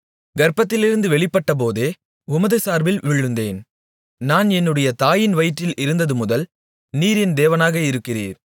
கர்ப்பத்திலிருந்து வெளிப்பட்டபோதே உமது சார்பில் விழுந்தேன் நான் என்னுடைய தாயின் வயிற்றில் இருந்தது முதல் நீர் என் தேவனாக இருக்கிறீர்